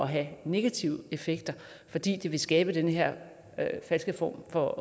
have negative effekter fordi det vil skabe den her falske form for